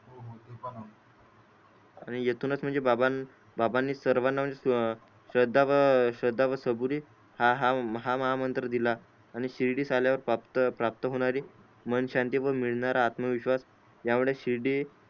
आणि इथूनच म्हणजे बाबांनी सर्वाना म्हणजे श्रद्धा व सबुरी हा माहा मंत्र दिला आणि शिर्डी आल्या वर प्राप्त होणारी मन शांतीहून मिळणार आत्मविश्वास या मूळे शिर्डी